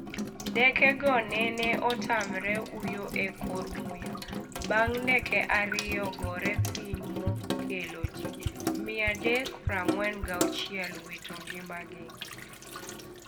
Ndekego nene otam uyo e kor muya bang' ndeke ariyo gore piny mokelo ji 346 wito ngimagi